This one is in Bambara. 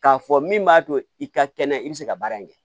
K'a fɔ min b'a to i ka kɛnɛ i bɛ se ka baara in kɛ